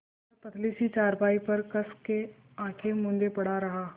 वह पतली सी चारपाई पर कस के आँखें मूँदे पड़ा रहा